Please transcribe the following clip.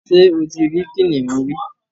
ṣé o tí rí kìnìún rí?